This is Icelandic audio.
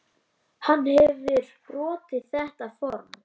Hann hefur brotið þetta form.